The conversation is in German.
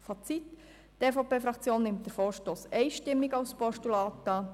Fazit: Die EVP-Fraktion nimmt diesen Vorstoss einstimmig als Postulat an